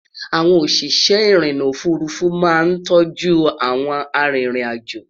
àwọn òṣìṣẹ́ irinna òfurufú má ń tóoju àwọn àrin ìrìn àjọ